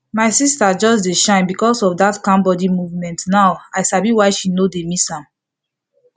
my sister just dey shine because of that calm body movement now i sabi why she no dey miss am